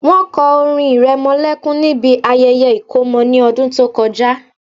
Wọ́n kọ orin ìrẹmọlẹ́kún níbi ayẹyẹ ìkómọ ní ọdún tó kọjá